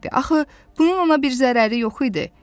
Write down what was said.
Axı bunun ona bir zərəri yox idi.